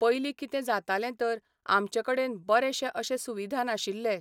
पयलीं कितें जातालें तर, आमचे कडेन बरेशे अशे सुविधा नाशिल्ले.